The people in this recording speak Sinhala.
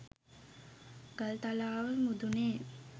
ගල්තලාව මුදුනේ